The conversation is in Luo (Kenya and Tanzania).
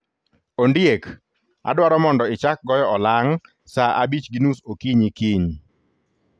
Ondiek, adwaro mondo ichak goyo olang ' sa 11:30 okinyi kiny.